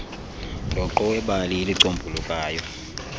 dooqo webali elicombulukayo